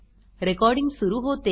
recording सुरू होते